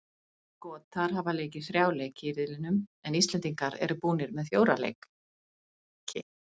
Skotar hafa leikið þrjá leiki í riðlinum en Íslendingar eru búnir með fjóra leik.